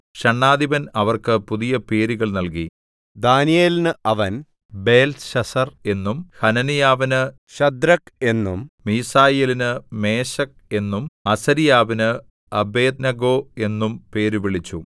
ഷണ്ഡാധിപൻ അവർക്ക് പുതിയ പേരുകൾ നൽകി ദാനീയേലിന് അവൻ ബേൽത്ത്ശസ്സർ എന്നും ഹനന്യാവിന് ശദ്രക്ക് എന്നും മീശായേലിന് മേശക്ക് എന്നും അസര്യാവിന് അബേദ്നെഗോ എന്നും പേരുവിളിച്ചു